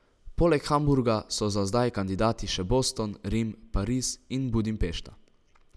Poleg Hamburga so za zdaj kandidati še Boston, Rim, Pariz in Budimpešta.